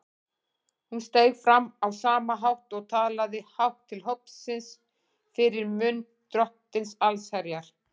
Hún steig fram á sama hátt og talaði hátt til hópsins fyrir munn Drottins allsherjar.